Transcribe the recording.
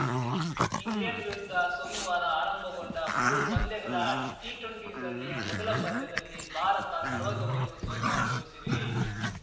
England ವಿರುದ್ಧ ಸೋಮವಾರ ಆರಂಭಗೊಂಡ ಮೂರು ಪಂದ್ಯಗಳ ಟಿಟ್ವೆಂಟಿ ಸರಣಿಯ ಮೊದಲ ಪಂದ್ಯದಲ್ಲಿ ಭಾರತ ನಲ್ವತ್ತೊಂದು ರನ್‌ ಸೋಲು ಅನುಭವಿಸಿದೆ